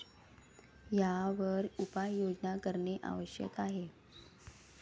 यावर उपाययोजना करणे आवश्यक आहे.